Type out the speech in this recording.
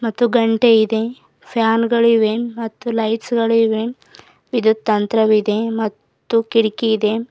ಮತ್ತು ಘಂಟೆ ಇದೆ ಫ್ಯಾನ್ ಗಳಿವೆ ಮತ್ತು ಲೈಟ್ಸ್ ಗಳಿವೆ ವಿದ್ಯುತ್ ತಂತ್ರವಿದೆ ಮತ್ತು ಕಿಡಕಿ ಇದೆ.